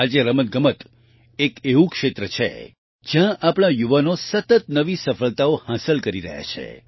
આજે રમતગમત એક એવું ક્ષેત્ર છે જ્યાં આપણા યુવાનો સતત નવી સફળતાઓ હાંસલ કરી રહ્યા છે